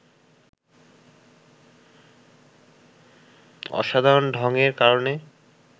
অসাধারণ ঢংয়ের কারণে